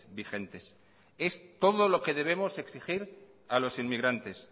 vigentes es todo lo que debemos exigir a los inmigrantes